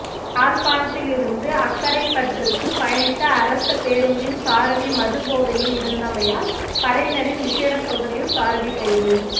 யாழ்ப்பாணத்திலிருந்து அக்கரைப்பற்றுக்கு பயணித்த அரச பேருந்தின் சாரதி மதுபோதையில் இருந்தமையால் படையினரின் விஷேட சோதனையில் சாரதி கைது